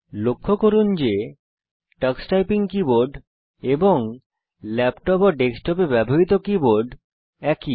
লক্ষ্য করুন যে টক্স টাইপিং কীবোর্ড এবং ল্যাপটপ ও ডেস্কটপে ব্যবহৃত কীবোর্ড একই